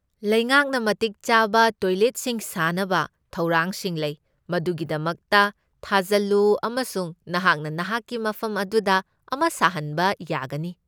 ꯂꯩꯉꯥꯛꯅ ꯃꯇꯤꯛ ꯆꯥꯕ ꯇꯣꯏꯂꯦꯠꯁꯤꯡ ꯁꯥꯅꯕ ꯊꯧꯔꯥꯡꯁꯤꯡ ꯂꯩ, ꯃꯗꯨꯒꯤꯗꯃꯛꯇ ꯊꯥꯖꯜꯂꯨ ꯑꯃꯁꯨꯡ ꯅꯍꯥꯛꯅ ꯅꯍꯥꯛꯀꯤ ꯃꯐꯝ ꯑꯗꯨꯗ ꯑꯃ ꯁꯥꯍꯟꯕ ꯌꯥꯒꯅꯤ꯫